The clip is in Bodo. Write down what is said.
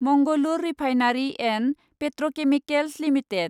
Mangalore refinery and petrochemicals limited